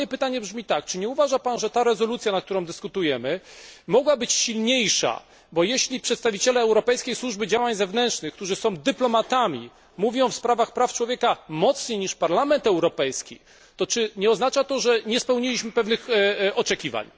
Ale moje pytanie brzmi tak czy nie uważa Pan, że ta rezolucja, nad którą dyskutujemy, mogła być silniejsza, bo jeśli przedstawiciele Europejskiej Służby Działań Zewnętrznych, którzy są dyplomatami, mówią w sprawach praw człowieka mocniej niż Parlament Europejski, to czy nie oznacza to, że nie spełniliśmy pewnych oczekiwań?